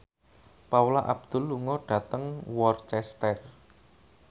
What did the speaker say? Paula Abdul lunga dhateng Worcester